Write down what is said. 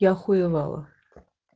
я охуевала